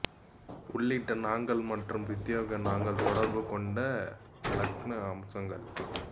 உள்ளிட்ட நாங்கள் மற்றும் பிரத்தியேக நாங்கள் தொடர்பு கொண்ட இலக்கண அம்சங்கள்